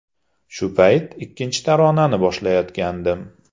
Shu payt ikkinchi taronani boshlayotgandim.